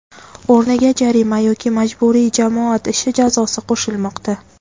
o‘rniga jarima yoki majburiy jamoat ishi jazosi qo‘shilmoqda.